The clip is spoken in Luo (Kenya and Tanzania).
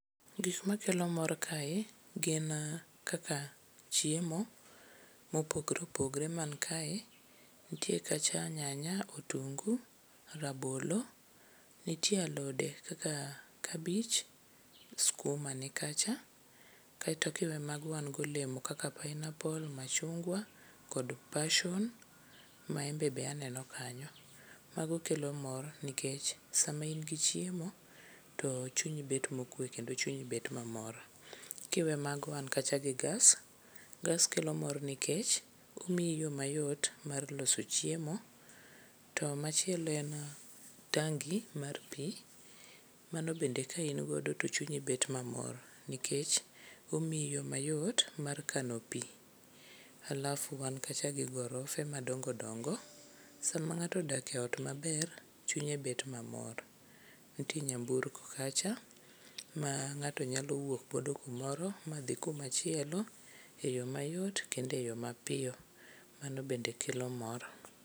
Gik makelo mor kae gin kaka chiemo mopogore opogore man kae ntie kacha nyanya, otungu, rabolo, nitie alode kaka kabich, skuma nikacha. Kaeto kiwe mago wango olemo kaka pineaple, machungwa kod passion, maembe be aneno kanyo. Mano kelo mor nikech sama in gi chiemo to chunyi bet mokwe kendo chunyi bet mamor. Kiwe mano wan kacha gi gas. Gas kelo mor nikech omiyi yo mayot mar loso chiemo to machielo en tangi mar pi mano bende ka ingodo to chunyi bet mamor nikech omiyi yo mayot mar kano pi. Alafu wan kacha gi gorofe madongodongo. Sama ng'ato odak e ot maber, chunye bet mamor. Nitie nyamburko kacha ma ng'ato nyalo wuokgodo kumoro madhi kumachielo e yo mayot kendo e yo mapiyo. Mano bende kelo mor.